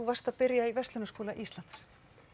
var að byrja í Verslunarskóla Íslands